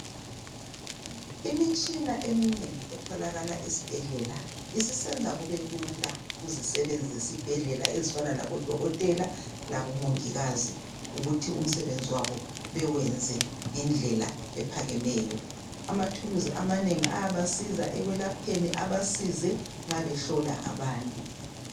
Imitshina eminengi etholakala esibhedlela, isisenza kube lula kuzisebenzi zesibhedlela ezifana labodokotela labomongikazi ukuthi umsebenzi wabo bewenze ngendlela ephakemeyo. Amathuluzi amanengi ayabasiza ekwelapheni abasize nxa behlola abantu.